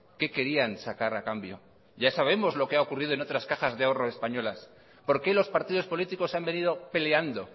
qué querían sacar a cambio ya sabemos lo que ha ocurrido en otras cajas de ahorros españolas por qué los partidos políticos han venido peleando